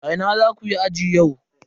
A ina zaku yi aji yau?